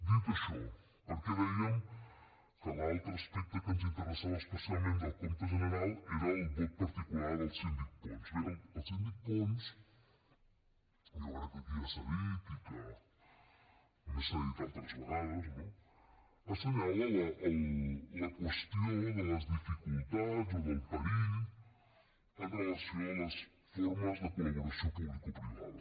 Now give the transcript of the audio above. dit això per què dèiem que l’altre aspecte que ens interessava especialment del compte general era el vot particular del síndic pons bé el síndic pons jo crec que aquí ja s’ha dit i que a més s’ha dit altres vegades no assenyala la qüestió de les dificultats o del perill amb relació a les formes de col·laboració publicoprivada